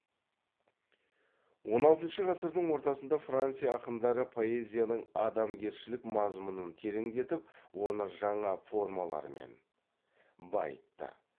он алтыншы ғасырдың ортасында франция ақындары поэзияның адамгершілік мазмұнын тереңдетіп оны жаңа формалармен байытты